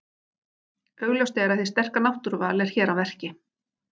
Augljóst er að hið sterka náttúruval er hér að verki.